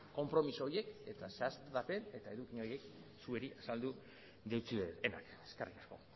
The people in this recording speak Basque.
konpromiso horiek eta zehaztapen eta eduki horiek zuei azaldu deutsuedanak eskerrik asko